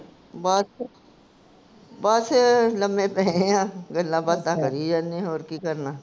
ਬਸ ਬਸ ਲੰਮੇ ਪਏ ਆ, ਗੱਲਾਂ ਬਾਤਾਂ ਕਰੀ ਜਾਨੇ, ਹੋਰ ਕੀ ਕਰਨਾ?